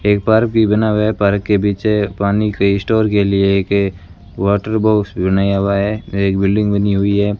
एक बार भी बना व्यापार के पीछे पानी के स्टोर के लिए के वाटर बॉक्स बनाया हुआ है एक बिल्डिंग बनी हुई है।